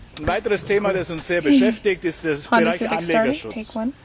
Ein weiteres Thema, das uns sehr beschäftigt, ist der Bereich Anlegerschutz.